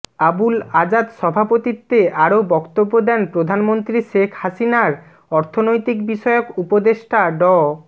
আবুল আজাদ সভাপতিত্বে আরো বক্তব্য দেন প্রধানমন্ত্রী শেখ হাসিনার অর্থনৈতিক বিষয়ক উপদেষ্টা ড